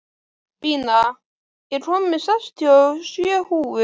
Bína, ég kom með sextíu og sjö húfur!